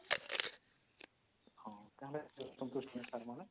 ହଁ ତାହେଲେ ସନ୍ତୁଷ୍ଟି ନା sir ମାନେ